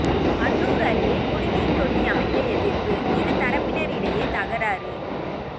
அன்னூர் அருகே குடிநீர் தொட்டி அமைக்க எதிர்ப்பு இரு தரப்பினர் இடையே தகராறு